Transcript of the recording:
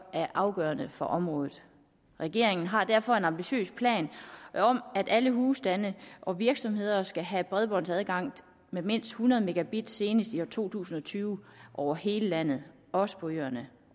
afgørende for området regeringen har derfor en ambitiøs plan om at alle husstande og virksomheder skal have bredbåndsadgang med mindst hundrede megabit senest i to tusind og tyve over hele landet også på øerne